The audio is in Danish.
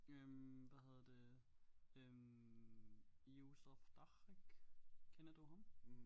Øh hvad hedder det øh Josef Tarrak kender du ham